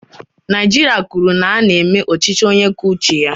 Naijiria kwuru na ha na-eme ọchịchị onye kwuo uche ya.